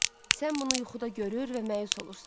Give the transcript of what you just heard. Sən bunu yuxuda görür və məyus olursan.